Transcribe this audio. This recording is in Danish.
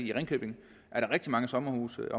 i ringkøbing er rigtig mange sommerhusejere